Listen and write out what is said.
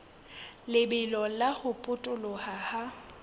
lebelo la ho potoloha ha